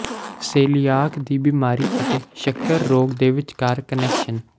coeliac ਦੀ ਬਿਮਾਰੀ ਅਤੇ ਸ਼ੱਕਰ ਰੋਗ ਦੇ ਵਿਚਕਾਰ ਕਨੈਕਸ਼ਨ